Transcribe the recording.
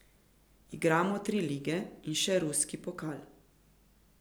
Igramo tri lige in še ruski pokal.